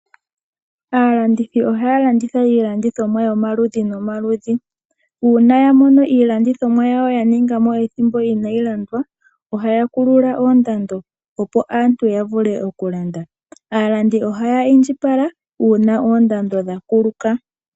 Aalandithi ohaya landitha iilqndithomwa yomaludhi nomaludhi. Shampa ya mono iilandithomwa yawo ya kala mo ethimbo inayi landwa, ohaya kulula ko kondando opo aantu ya vule okulanda. Aalandi ohaya indjipala uuna oondando dha kuluka.